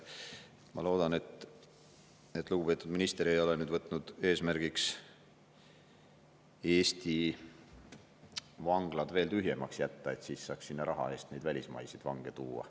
Ma loodan, et lugupeetud minister ei ole võtnud eesmärgiks Eesti vanglaid veel tühjemaks jätta, et siis saaks sinna raha eest neid välismaiseid vange tuua.